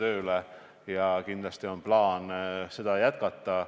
Seda meedet on kindlasti plaanis jätkata.